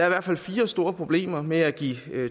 i hvert fald fire store problemer med at give